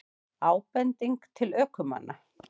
Ábending til ökumanna